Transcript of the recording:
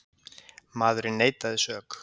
Maðurinn neitaði sök